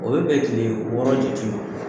O bɛ bɛ tile wɔɔrɔ jati ma.